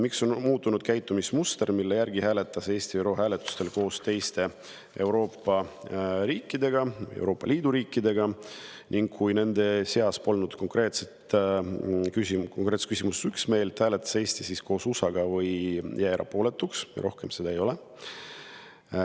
Miks on muutunud käitumismuster, mille järgi hääletas Eesti ÜRO hääletustel koos teiste Euroopa Liidu riikidega ning kui nende seas polnud konkreetses küsimuses üksmeelt, hääletas Eesti nagu USA või jäi erapooletuks, ja miks rohkem seda ei ole?